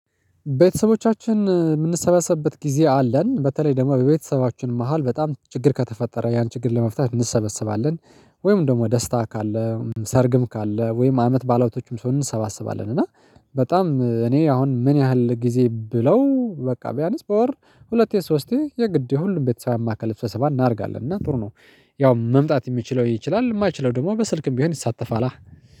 ቤተሰቦቻችን የምንሰበሰብበት ጊዜ አለን በተለይ ደግሞ በቤተሰባችን መሃል በጣም ችግር ከተፈጠረ ያን ችግር ለመፍታት እንሰበስባለን። ወይም ደግሞ ደስታ ካለ ሰርግም ካለ ወይም አመት ባዓላቶችም ሲሆን እንሰባስባለን። እና በጣም እኔ አሁን ምን ያህል ጊዜ ብለው በቃ ቢያንስ በወር ሁለቴ ሶስቴ የግድ የሁሉም ቤተሰብ ያማከለ ሰብሰባ እናደርጋለን እና ጥሩ ነው። ያው መምጣት የሚችለው ይችላል የማይችለው ደግሞ በስልክም ቢሆን ይሳተፋላ